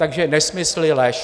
Takže nesmysly, lež. .